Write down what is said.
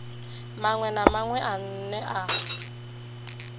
maṅwe na maṅwe ane a